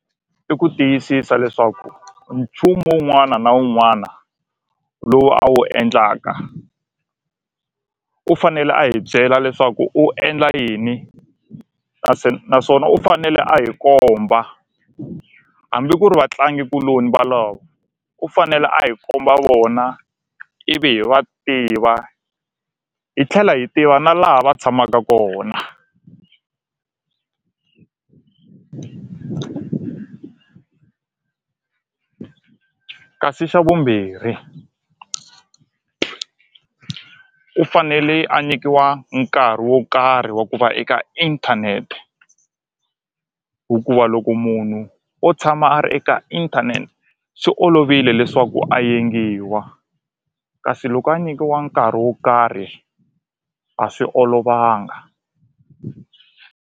I ku tiyisisa leswaku nchumu wun'wana na wun'wana lowu a wu endlaka u fanele a hi byela leswaku u endla yini naswona u fanele a hi komba hambi ku ri vatlangikuloni valavo u fanele a hi komba vona ivi hi va tiva hi tlhela hi tiva na laha va tshamaka kona kasi xa vumbirhi u fanele a nyikiwa nkarhi wo karhi wa ku va eka inthanete hikuva loko munhu o tshama a ri eka inthanete swi olovile leswaku a yengiwa kasi loko a nyikiwa nkarhi wo karhi a swi olovanga.